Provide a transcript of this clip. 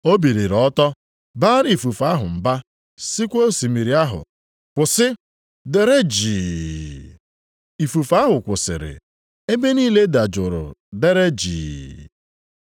Ọ biliri ọtọ, baara ifufe ahụ mba sịkwa osimiri ahụ, “Kwụsị! Dere jii!” Ifufe ahụ kwụsịrị, ebe niile dajụrụ deere jii.